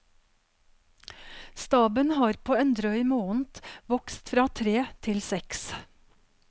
Staben har på en drøy måned vokst fra tre til seks.